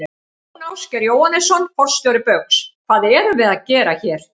Jón Ásgeir Jóhannesson, forstjóri Baugs: Hvað erum við að gera hér?